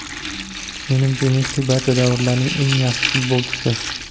Menimcha Messi barcha davrlarning eng yaxshi futbolchisi.